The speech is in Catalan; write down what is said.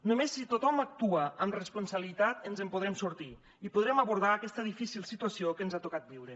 només si tothom actua amb responsabilitat ens en podrem sortir i podrem abordar aquesta difícil situació que ens ha tocat viure